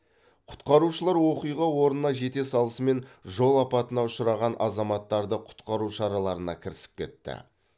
құтқарушылар оқиға орнына жете салысымен жол апатына ұшыраған азаматтарды құтқару шараларына кірісіп кетті